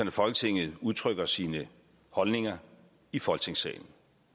at folketinget udtrykker sine holdninger i folketingssalen